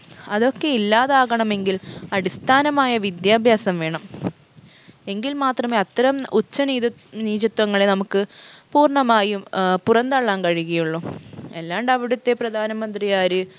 അതൊക്കെ ഇല്ലാതാകണമെങ്കിൽ അടിസ്ഥാനമായ വിദ്യാഭ്യാസം വേണം എങ്കിൽ മാത്രമേ അത്തരം ഉച്ച നീതു നീചത്വങ്ങളെ നമ്മുക്ക് പൂർണമായും ഏർ പുറം തള്ളാൻ കഴിയുകയുള്ളു അല്ലാണ്ട് അവിടുത്തെ പ്രധാനമന്ത്രി ആര്